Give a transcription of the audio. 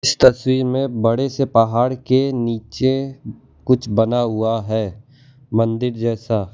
इस तस्वीर में बड़े से पहाड़ के नीचे कुछ बना हुआ है मंदिर जैसा।